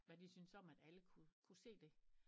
Hvad de synes om at alle kunne kunne se det